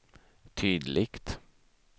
tydligt